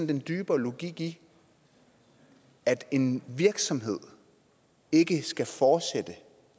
den dybere logik i at en virksomhed ikke skal fortsætte